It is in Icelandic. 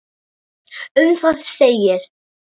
Um það segir: